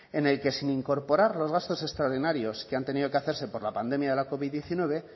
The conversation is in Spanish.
en el que sin incorporar los gastos extraordinarios que han tenido que hacerse por la pandemia de la covid diecinueve